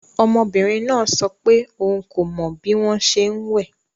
Ọmọbìnrin náà sọ pé òun kò mọ bí wọ́n ṣe ń wẹ̀